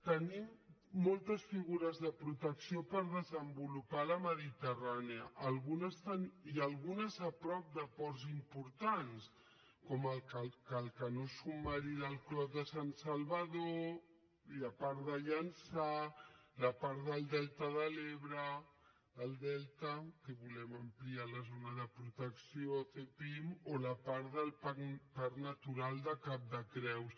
tenim moltes figures de protecció per desenvolupar a la mediterrània i algunes a prop de ports importants com el canó submarí del clot de sant salvador i la part de llançà la part del delta de l’ebre del delta que volem ampliar la zona de protecció a zepim o la part del parc natural de cap de creus